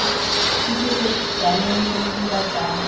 iketse jaanong re dira jang